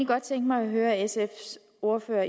godt tænke mig at høre sfs ordfører